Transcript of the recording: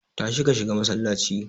Tashi ka shiga masallaci.